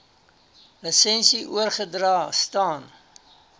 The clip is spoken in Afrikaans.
lisensie oorgedra staan